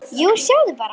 Já, sjáðu bara!